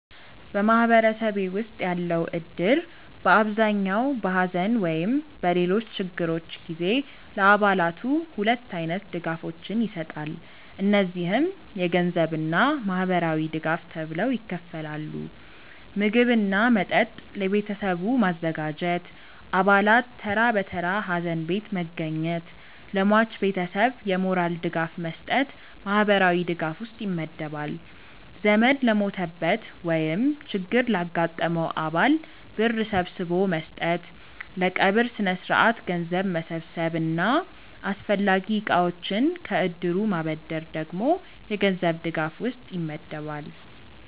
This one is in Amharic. በማህበረሰቤ ውስጥ ያለው እድር በአብዛኛው በሐዘን ወይም በሌሎች ችግሮች ጊዜ ለአባላቱ ሁለት አይነት ድጋፎችን ይሰጣል። እነዚህም የገንዘብ እና ማህበራዊ ድጋፍ ተብለው ይከፈላሉ። ምግብ እና መጠጥ ለቤተሰቡ ማዘጋጀት፣ አባላት ተራ በተራ ሀዘን ቤት መገኘት፣ ለሟች ቤተሰብ የሞራል ድጋፍ መስጠት ማህበራዊ ድጋፍ ውስጥ ይመደባል። ዘመድ ለሞተበት ወይም ችግር ላጋጠመው አባል ብር ሰብስቦ መስጠት፣ ለቀብር ስነስርዓት ገንዘብ መሰብሰብ እና አስፈላጊ እቃዎችን ከእድሩ ማበደር ደግሞ የገንዘብ ድጋፍ ውስጥ ይመደባል።